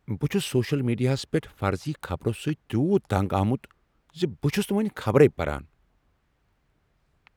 بہٕ چھس سوشل میڈیاہس پیٹھ فرضی خبرو سۭتۍ تیوٗت تنٛگ آمت ز بہٕ چھس نہٕ وۄنۍ خبرے پران۔